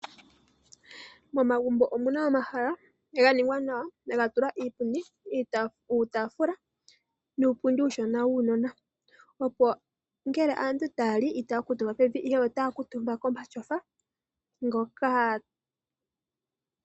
Momagumbo omuna momahala ngoka ga nigwa nawa gavtilwa iitaafula, iipundi nuupundi uushona wuunona, opo ngele aantu taya li itaya kuutumba pevi, ihe otaya kuutumba komatyofa ngoka.